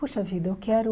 Poxa vida, eu quero...